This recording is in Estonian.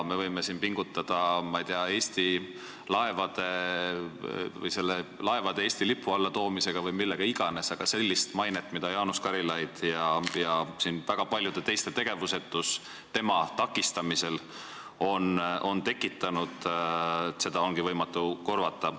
Me võime siin pingutada Eesti laevade Eesti lipu alla toomisega või millega iganes, aga sellist kahju mainele, mida Jaanus Karilaid ja väga paljud teised, kes pole tema tegevust takistanud, on tekitanud, on võimatu korvata.